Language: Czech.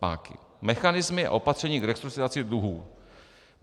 m) mechanismy a opatření k restrukturalizaci dluhů,